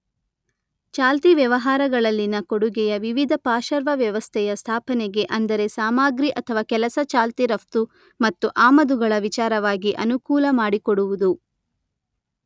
ಚಾಲ್ತಿ ವ್ಯವಹಾರಗಳಲ್ಲಿನ ಕೊಡುಗೆಯ ವಿವಿಧ ಪಾಶರ್ವ ವ್ಯವಸ್ಥೆಯ ಸ್ಥಾಪನೆಗೆ ಅಂದರೆ ಸಾಮಗ್ರಿ ಮತ್ತು ಕೆಲಸಗಳ ಚಾಲ್ತಿ ರಫ್ತು ಮತ್ತು ಆಮದುಗಳ ವಿಚಾರವಾಗಿ ಅನುಕೂಲ ಮಾಡಿಕೊಡುವುದು.